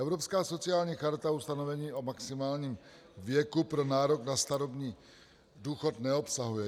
Evropská sociální charta ustanovení o maximálním věku pro nárok na starobní důchod neobsahuje.